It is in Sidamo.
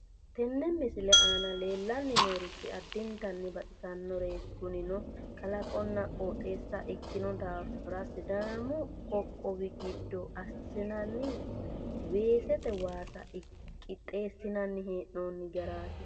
Tenne misile aana leellanni noorichi addintanni baxisannoreeti kunino kalaqonna qooxeessa ikkino daafira sidaamu qoqqowi giddo assinanni weesete waasa qixxeessinanni hee'noonni garaati